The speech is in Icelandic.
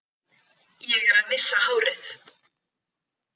Ég er að missa hárið.